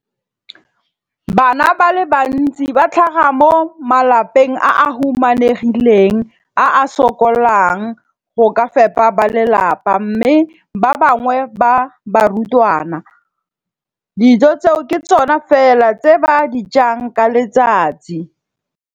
Bana ba le bantsi ba tlhaga mo malapeng a a humanegileng a a sokolang go ka fepa ba lelapa mme ba bangwe ba barutwana, dijo tseo ke tsona fela tse ba di jang ka letsatsi.